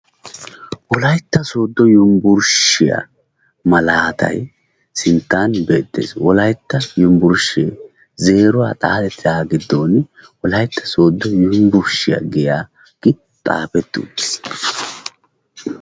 wolaytta soodo yunburshshiya malaatay sinttan beetees, wolaytta yunburshee zeeruwa xaaxetagan wolayta soodo yunburshiya giya xuufee dees.